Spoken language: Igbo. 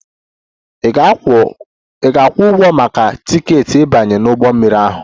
Ị ga-akwụ ụgwọ maka tiketi ịbanye n'ụgbọ mmiri ahụ!